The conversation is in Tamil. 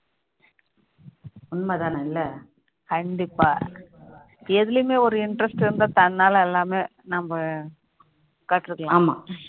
உண்மைதான் அல்ல கண்டிப்பாக எதுலயுமே ஒரு interest இருந்தா தன்னால எல்லாமே நம்ம கற்றுக்கலாம்